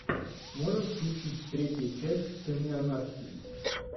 можешь включить третья часть сыны анархии